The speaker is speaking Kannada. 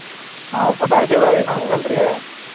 ನಾವ್ ಪಟಾಕ್ಷಿ ಅದು ಏನ ಹಚ್ಚಲ್ರಿ.